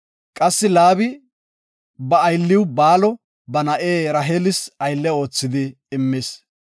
Qassi Laabi ba aylliw Baalo ba na7e Raheelis aylle oothidi immis.